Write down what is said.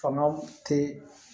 Fanga te